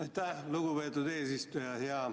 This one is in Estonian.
Aitäh, lugupeetud eesistuja!